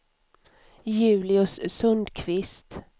Julius Sundkvist